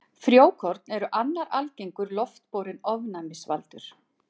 Frjókorn eru annar algengur loftborinn ofnæmisvaldur.